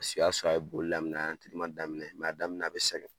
Su y'a sɔrɔ a ye bolo lam daminɛ' daminɛ a bɛ segin